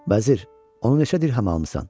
Vəzir, onu neçə dirhəm almısan?